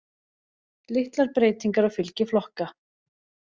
Litlar breytingar á fylgi flokka